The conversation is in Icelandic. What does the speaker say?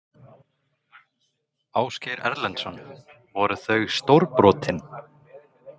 Ásgeir Erlendsson: Voru þau stórbrotin?